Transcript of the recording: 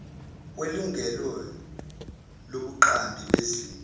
kwelungelo lobuqambi bezinto